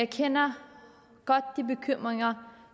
kender de bekymringer